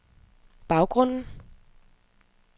baggrunden